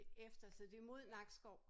Det efter så det er mod Nakskov?